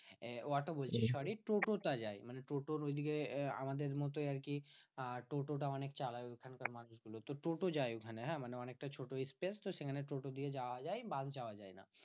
আহ auto বলছি sorry toto টা যায়। মানে টোটোর ঐদিকে আমাদের মতোই আরকি আহ টোটো টা অনেক চালায় ওখানকার মানুষগুলো। তো টোটো যায় ওখানে হ্যাঁ মানে অনেকটা ছোট space তো? সেখানে টোটো দিয়ে যাওয়া যায় বাস যাওয়া যায় না।